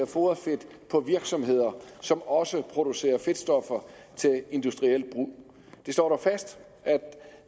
foderfedt på virksomheder som også producerer fedtstoffer til industriel brug det står dog fast at